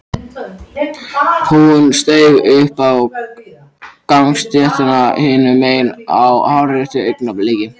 Hún steig upp á gangstéttina hinum megin á hárréttu augnabliki.